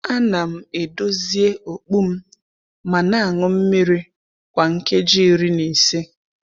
A na m edozie okpu m ma na aṅụ mmiri kwa nkeji iri na ise.